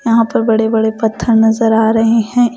यहां पर बड़े-बड़े पत्थर नजर आ रहे हैं ।